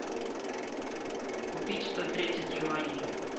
купить сто тридцать юаней